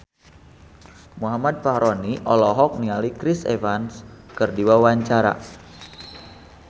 Muhammad Fachroni olohok ningali Chris Evans keur diwawancara